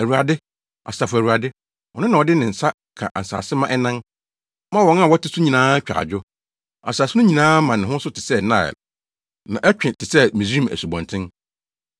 Awurade, Asafo Awurade, Ɔno na ɔde ne nsa ka asase ma ɛnan, ma wɔn a wɔte so nyinaa twa adwo. Asase no nyinaa ma ne ho so te sɛ Nil na ɛtwe te sɛ Misraim asubɔnten.